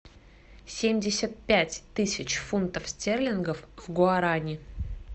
семьдесят пять тысяч фунтов стерлингов в гуарани